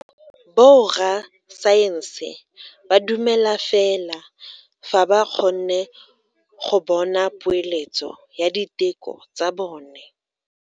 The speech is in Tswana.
Borra saense ba dumela fela fa ba kgonne go bona poeletso ya diteko tsa bone.